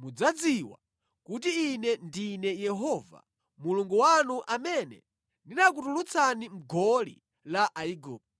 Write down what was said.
mudzadziwa kuti Ine ndine Yehova Mulungu wanu amene ndinakutulutsani mʼgoli la Aigupto.